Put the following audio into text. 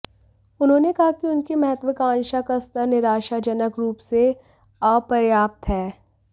उन्होंने कहा कि उनकी महत्वाकांक्षा का स्तर निराशाजनक रूप से अपर्याप्त है